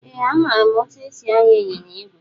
Ee amara etụ esị anya ịnyịnya ìgwè.